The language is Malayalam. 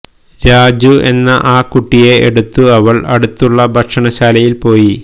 രാജു എന്ന ആ കുട്ടിയെ എടുത്തു അവൾ അടുത്തുള്ള ഭക്ഷണശാലയിൽ പോയി